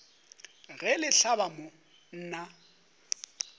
ge le hlaba mo nna